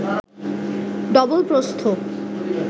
double প্রস্থ